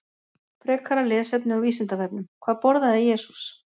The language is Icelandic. Frekara lesefni á Vísindavefnum: Hvað borðaði Jesús?